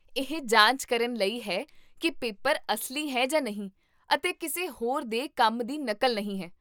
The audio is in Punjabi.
ਇਹ ਜਾਂਚ ਕਰਨ ਲਈ ਹੈ ਕੀ ਪੇਪਰ ਅਸਲੀ ਹੈ ਜਾਂ ਨਹੀਂ ਅਤੇ ਕਿਸੇ ਹੋਰ ਦੇ ਕੰਮ ਦੀ ਨਕਲ ਨਹੀਂ ਹੈ